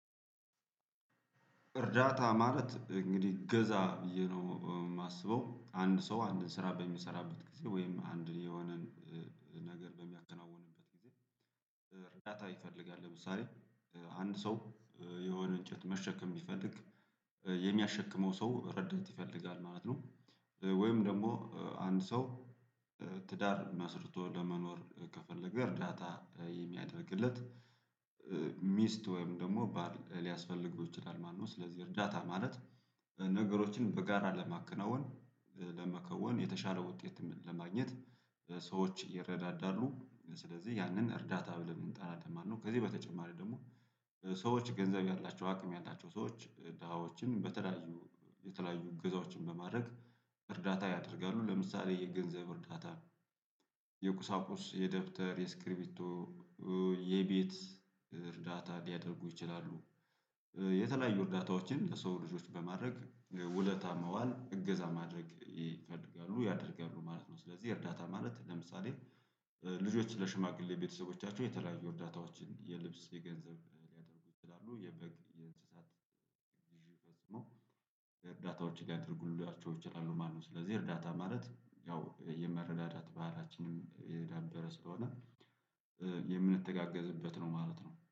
እርዳታ ማለት እንግዲህ እገዛ ብዬ ነው የማስበው አንድ ሰው አንድን ስራ በሚሰራበት ጊዜ ወይም አንድን የሆነን ነገር በሚያከናውንበት ጊዜ እርዳታ ይፈልጋል። ለምሳሌ አንድ ሰው የሆነ እንጨት መሸከም ቢፈልግ የሚያሸክመው ሰው ረዳት ይፈልጋል ማለት ነው። ወይም ደግሞ አንድ ሰው ትዳር መስርቶ ለመኖር ከፈለገ እርዳታ የሚያደርግለት ሚስት ወይም ደግሞ ሊያስፈልገው ይችላሉ። ማንም ስለዚህ እርዳታ ማለት ነገሮችን በጋራ ለማከናወን ለመከወን የተሻለ ውጤት ለማግኘት ሰዎች ይረዳዳሉ ስለዚህ ያንን እርዳታ ብለን እንጣራለን። ማነው ከዚህ በተጨማሪ ደግሞ ሰዎች ገንዘብ ያላቸው አቅም ያላቸው ሰዎች ደሃዎችን በተለያዩ የተለያዩ እገዛዎችን በማድረግ እርዳታ ያደርጋሉ ለምሳሌ የገንዘብ እርዳታ ነው። የቁሳቁስ የደብተር የስክሪፕቶ የቤት እርዳታ ሊያደርጉ ይችላሉ። የተለያዩ እርዳታዎችን ለሰው ልጆች በማድረግ ውለታ መዋል እገዛ ማድረግ ይፈልጋሉ ያደርጋሉ ማለት ነው። ስለዚህ እርዳታ ማለት ለምሳሌ ልጆች ለሽማግሌ ቤተሰቦቻቸው የተለያዩ እርዳታዎችን የልብስ የገንዘብ ሊያደርጉ ይችላሉ የበግ የእንስሳት ግዢ ፈጽሞ እርዳታዎች ጋር ሊያደርጉልላቸው ይችላሉ። ማነው ስለዚህ እርዳታ ማለት ያው የመረዳዳት ባህላችንም የዳበረ ስለሆነ የምንተጋገዝበት ነው ማለት ነው